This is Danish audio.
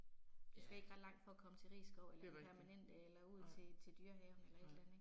Ja. Det er rigtigt, nej, nej